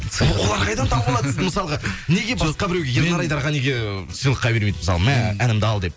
олар қайдан тауып алады сізді мысалға неге басқа біреуге ернар айдарға неге сыйлыққа бермейді мысалы мә әнімді ал деп